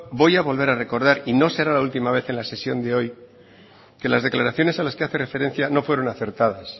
voy a volver a recordar y no será la última vez en la sesión de hoy que las declaraciones a las que hace referencia no fueron acertadas